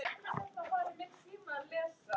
Af hverju er ég veikur?